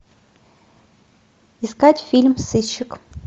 искать фильм сыщик